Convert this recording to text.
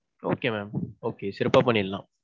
okay mam okay சிறப்பா பண்ணிடலாம்.